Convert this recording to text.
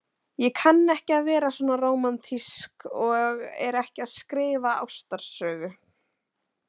Ég kann ekki að vera svona rómantísk og er ekki að skrifa ástarsögu.